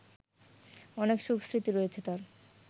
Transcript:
অনেক সুখস্মৃতি রয়েছে তার